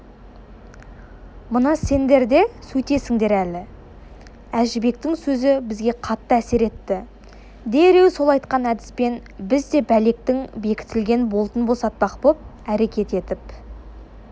мына сендер де сөйтесіңдер әлі әжібектің сөзі бізге қатты әсер етті дереу сол айтқан әдіспен біз де бәлектің бекітілген болтын босатпақ боп әрекет етіп